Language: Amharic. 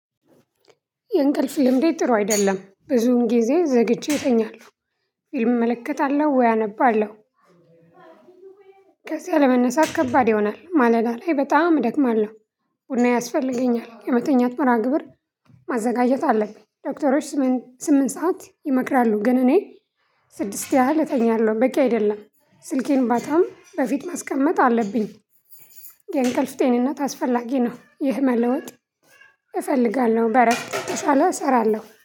የእንቅልፍ ልምዴ ጥሩ አይደለም ብዙን ጊዜ ዘግይቼ እተኛለሁ እመለከታለሁ ወይ አነባለሁ። ከዚያ ለመነሳት ከባድ ይሆናል ማለት ላይ በጣም እደክማለሁ። ቡና ያስፈልገኛል የመተኛት መርሃ ግብር ማዘጋጀት አለብኝ። ዶክተሮች ስምንት ሰዓት ይመክራሉ ግን እኔ ስድስት ያህል እተኛለሁ በቂ አይደለም ስልኬን ባታም በፊት ማስቀመጥ አለብኝ። የእንቅልፍ ጤንነት አስፈላጊ ነው። ይህ መለወጥ እፈልጋለሁ በእረፍት ተሻለ እሰራለሁ